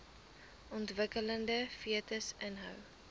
ontwikkelende fetus inhou